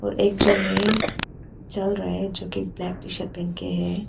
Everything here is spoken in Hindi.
और एक जो है चल रहा है जो की ब्लैक टी शर्ट पहन के है।